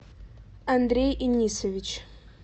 андрей инисович